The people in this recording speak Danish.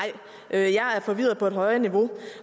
jeg er forvirret på et højere niveau